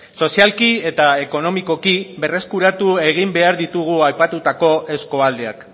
sozialki eta ekonomikoki berreskuratu egin behar ditugu aipatutako eskualdeak